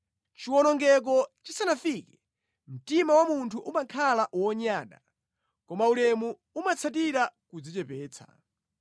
Chiwonongeko chisanafike, mtima wa munthu umakhala wonyada, koma ulemu umatsatira kudzichepetsa.